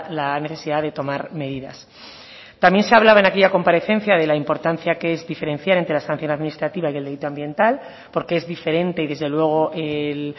la necesidad de tomar medidas también se hablaba en aquella comparecencia de la importancia de diferenciar entre la sanción administrativa y el delito ambiental porque es diferente y desde luego el